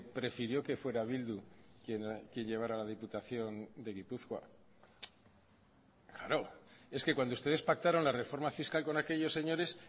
prefirió que fuera bildu quien llevara la diputación de gipuzkoa claro es que cuando ustedes pactaron la reforma fiscal con aquellos señores